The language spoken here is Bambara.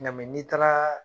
N ga n'i taara